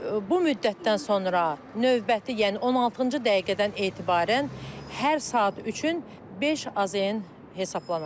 Bu müddətdən sonra növbəti, yəni 16-cı dəqiqədən etibarən hər saat üçün 5 AZN hesablanacaqdır.